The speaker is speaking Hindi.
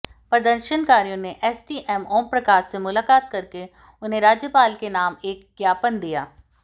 प्रदर्शनकारियों ने एसडीएम ओमप्रकाश से मुलाकात करके उन्हें राज्यपाल के नाम एक ज्ञापन दिया